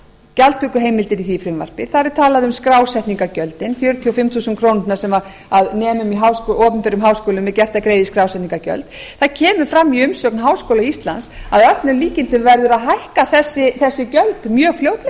gjaldtökuheimildir í því frumvarpi þar er talað um skrásetningargjöldin fjörutíu og fimm þingskjölum sem nemum í opinberum háskólum er gert að greiða í skrásetningargjöld það kemur fram í umsögn háskóla íslands að öllum líkindum verði að hækka þessi gjöld mjög fljótlega um